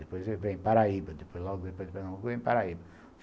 Depois vem Paraíba, logo depois de Pernambuco vem Paraíba.